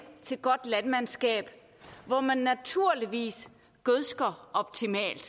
til godt landmandskab hvor man naturligvis gødsker optimalt